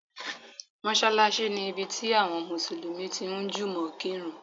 Mọ́ṣálásí ni ibi tí àwọn Mùsùlùmí tí ń jùmọ̀ kírun.